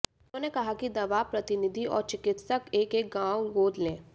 उन्होंने कहा कि दवा प्रतिनिधि और चिकित्सक एक एक गांव गोद लें